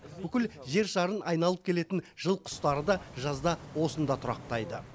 бүкіл жер шарын айналып келетін жыл құстары да жазда осында тұрақтайды